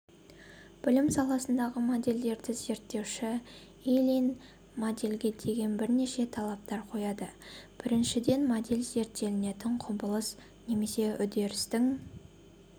білім саласындағы модельдерді зерттеуші ильин модельге деген бірнеше талаптар қояды біріншіден модель зерттелетін құбылыс немесе үдерістің